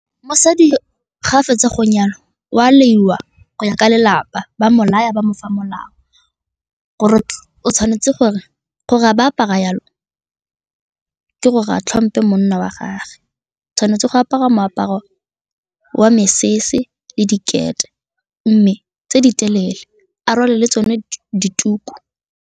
Mosadi ga a fetsa go nyalwa o a laiwa go ya ka lelapa, ba mo laya, ba mofa molao gore o tshwanetse gore gore ga ba apara yalo ke gore a tlhomphe monna wa gagwe, o tshwanetse go apara moaparo wa mesese le dikete mme tse di telele a rwale le tsone dituku.